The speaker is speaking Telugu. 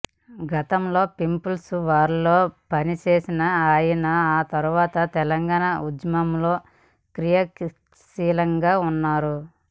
గతంలో పీపుల్స్ వార్లో పని చేసిన ఆయన ఆ తర్వాత తెలంగాణ ఉద్యమంలో క్రియాశీలకంగా ఉన్నారు